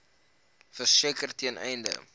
verseker ten einde